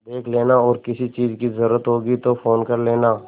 देख लेना और किसी चीज की जरूरत होगी तो फ़ोन कर लेना